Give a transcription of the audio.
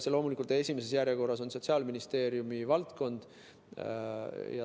See on loomulikult esimeses järjekorras sotsiaalministri valdkond.